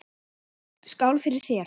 Skál fyrir þér!